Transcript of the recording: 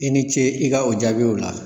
I ni ce i ka o jaabiw la.